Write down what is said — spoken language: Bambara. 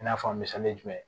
I n'a fɔ a misali jumɛn